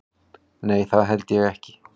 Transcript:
Nei það held ég ekki.